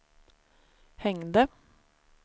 hängde